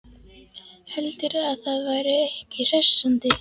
Heldurðu að það væri ekki hressandi?